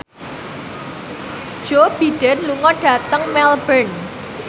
Joe Biden lunga dhateng Melbourne